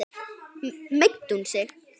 Meiddi hún sig?